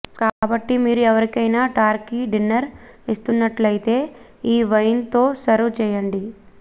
కాబట్టి మీరు ఎవరికైనా టర్కీ డిన్నర్ ఇస్తున్నట్లైతే ఈ వైన్ తో సర్వ్ చేయండి